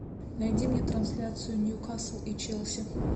найди мне трансляцию ньюкасл и челси